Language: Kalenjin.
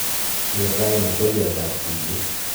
keer raini twolyot ab tuyet